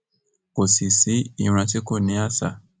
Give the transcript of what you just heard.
kò sí sí ìran tí kò ní àṣà